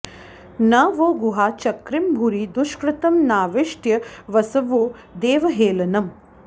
न वो॒ गुहा॑ चकृम॒ भूरि॑ दुष्कृ॒तं नाविष्ट्यं॑ वसवो देव॒हेळ॑नम्